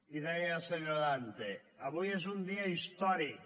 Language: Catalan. i deia el senyor dante avui és un dia històric